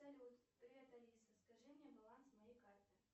салют привет алиса скажи мне баланс моей карты